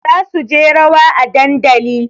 Za su je rawa a dandali